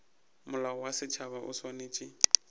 molao wa setšhaba o swanetše